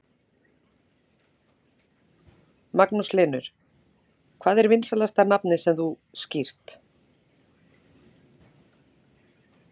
Magnús Hlynur: Hvað er vinsælasta nafnið sem þú skírt?